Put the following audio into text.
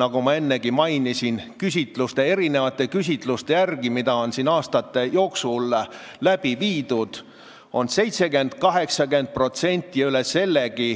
Nagu ma ennegi mainisin, siis küsitluste järgi, mida on aastate jooksul tehtud, on 70–80% ja üle sellegi